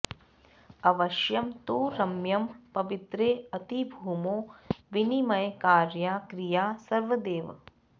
अवश्यं तु रम्यं पवित्रेऽतिभूमौ विनिमय कार्या क्रिया सर्वदैव